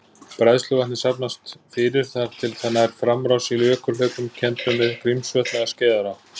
Bræðsluvatnið safnast fyrir þar til það nær framrás í jökulhlaupum kenndum við Grímsvötn eða Skeiðará.